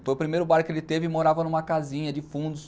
Foi o primeiro bar que ele teve e morava numa casinha de fundos,